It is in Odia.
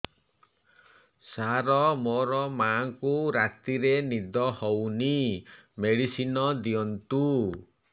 ସାର ମୋର ମାଆଙ୍କୁ ରାତିରେ ନିଦ ହଉନି ମେଡିସିନ ଦିଅନ୍ତୁ